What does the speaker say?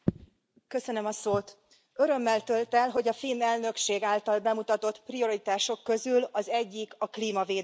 Elnök Úr, örömmel tölt el, hogy a finn elnökség által bemutatott prioritások közül az egyik a klímavédelem.